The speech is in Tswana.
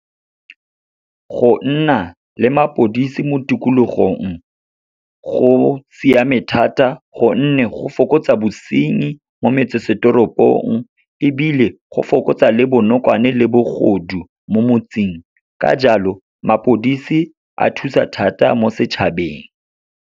Go nna le mapodisi mo tikologong, go siame thata gonne go fokotsa bosenyi mo metsesetoropong, ebile go fokotsa le bonokwane le bogodu mo motseng. Ka jalo, mapodisi a thusa thata mo setšhabeng.